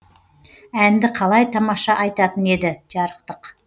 әнді қалай тамаша айтатын еді жарықтық